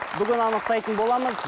бүгін анықтайтын боламыз